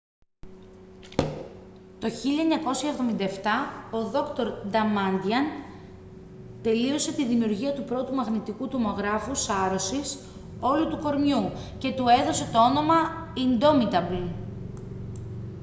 το 1977 ο δρ. νταμάντιαν τελείωσε την δημιουργία του πρώτου μαγνητικού τομογράφου σάρωσης «όλου του κορμιού» και του έδωσε το όνομα «indomitable»